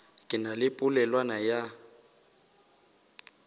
ke na le polelwana ya